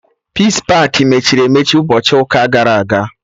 Peace pakị mechiri emechi ụbọchị ụka gara aga